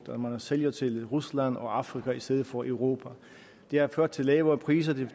og at man sælger til rusland og afrika i stedet for europa det har ført til lavere priser det